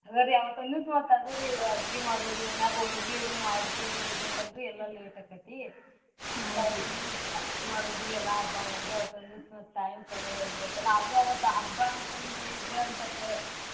ಹಂಗ್ ರೀ ಅವತ್ ಒಂದಿವ್ಸ್ ಅಡ್ಗಿ ಮಾಡೋದು ಮನ್ಯಾಗ್ ಹೋಳ್ಗಿ ಅದ್ ಮಾಡೋದೊಂದ್ ಇರ್ತೆೇತಲ್ರೀ ಎಲ್ಲಾ ಎಲ್ಲಾ late ಆಕೆತ್ತಿ ಅಡ್ಗಿ ಮಾಡೋದು ಎಲ್ಲಾ ಹಬ್ಬಾ ಮಾಡೋದು ಅವತ್ತೊಂದ್ಸ time ಕಳ್ದ್ ಹೋಗ್ಬಿಡ್ತೆತಲ್ಲಾ ಆದ್ರೂ ಹಬ್ಬಾ ಅಂತಂದ್ರ ಇದ್ರ್ ಒನ್ಸ್ವಲ್ಪ.